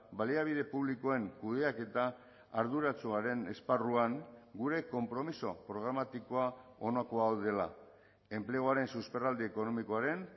baliabide publikoen kudeaketa arduratsuaren esparruan gure konpromiso programatikoa honako hau dela enpleguaren susperraldi ekonomikoaren